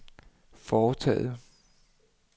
foretaget